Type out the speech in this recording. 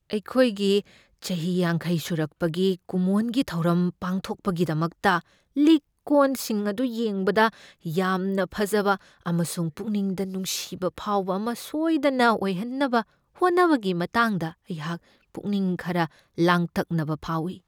ꯑꯩꯈꯣꯏꯒꯤ ꯆꯍꯤ ꯌꯥꯡꯈꯩ ꯁꯨꯔꯛꯄꯒꯤ ꯀꯨꯝꯑꯣꯟꯒꯤ ꯊꯧꯔꯝ ꯄꯥꯡꯊꯣꯛꯄꯒꯤꯗꯃꯛꯇ ꯂꯤꯛ ꯀꯣꯟꯁꯤꯡ ꯑꯗꯨ ꯌꯦꯡꯕꯗ ꯌꯥꯝꯅ ꯐꯖꯕ ꯑꯃꯁꯨꯡ ꯄꯨꯛꯅꯤꯡꯗ ꯅꯨꯡꯁꯤꯕ ꯐꯥꯎꯕ ꯑꯃ ꯁꯣꯏꯗꯅ ꯑꯣꯏꯍꯟꯅꯕ ꯍꯣꯠꯅꯕꯒꯤ ꯃꯇꯥꯡꯗ ꯑꯩꯍꯥꯛ ꯄꯨꯛꯅꯤꯡ ꯈꯔ ꯂꯥꯡꯇꯛꯅꯕ ꯐꯥꯎꯢ꯫